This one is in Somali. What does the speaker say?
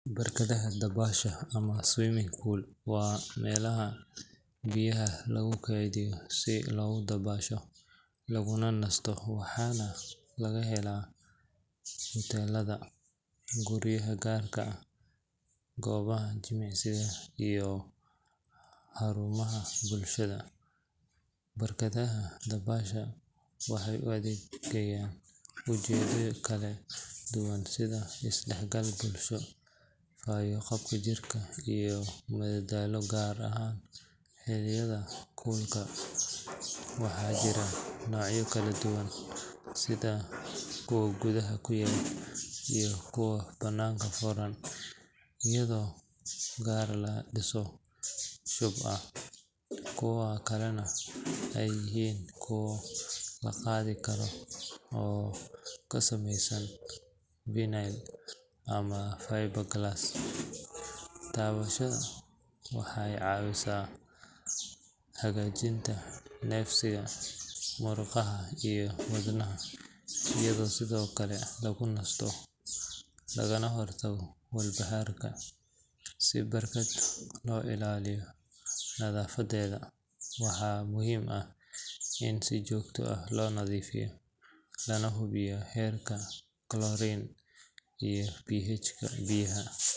Barkadaha dabaasha ama swimming pools waa meelaha biyaha lagu keydiyo si loogu dabaasho, laguna nasto, waxaana laga helaa huteelada, guryaha gaarka ah, goobaha jimicsiga, iyo xarumaha bulshada. Barkadaha dabaasha waxay u adeegaan ujeeddooyin kala duwan sida isdhexgal bulsho, fayo-qabka jirka, iyo madadaalo gaar ahaan xilliyada kulka. Waxaa jira noocyo kala duwan sida kuwa gudaha ku yaal iyo kuwa banaanka furan, iyadoo qaar laga dhiso shub ah, kuwo kalena ay yihiin kuwo la qaadi karo oo ka samaysan vinyl ama fiberglass. Dabaasha waxay caawisaa hagaajinta neefsiga, murqaha iyo wadnaha, iyadoo sidoo kale lagu nasto lagana hortago walbahaarka. Si barkad loo ilaaliyo nadaafadeeda, waxaa muhiim ah in si joogto ah loo nadiifiyo lana hubiyo heerka chlorine iyo pH-ga biyaha.